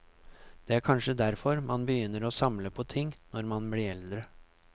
Det er kanskje derfor man begynner å samle på ting når man blir eldre.